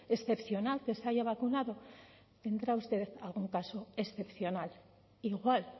excepcional que se haya vacunado tendrá usted algún caso excepcional igual